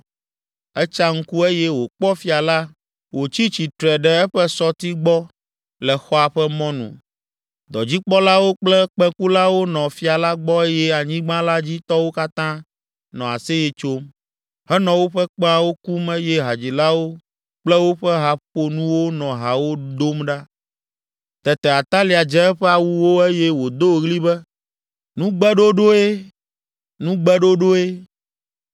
Etsa ŋku eye wòkpɔ fia la wòtsi tsitre ɖe eƒe sɔti gbɔ le xɔa ƒe mɔnu. Dɔdzikpɔlawo kple kpẽkulawo nɔ fia la gbɔ eye anyigba la dzi tɔwo katã nɔ aseye tsom, henɔ woƒe kpẽawo kum eye hadzilawo kple woƒe haƒonuwo nɔ hawo dom ɖa. Tete Atalia dze eƒe awuwo eye wòdo ɣli be, “Nugbeɖoɖoe! Nugbeɖoɖoe!”